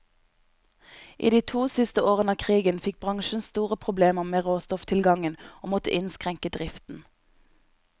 I de to siste årene av krigen fikk bransjen store problemer med råstofftilgangen, og måtte innskrenke driften.